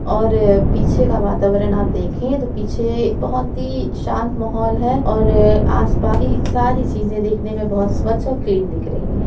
और ये पीछे का वातावरण आप देख तोह पीछे बोहोत ही शांत मोहोल है और आसपास की सारी चीज़े दिखने मे बोहत स्वच्छ और क्लीन दिख रही है।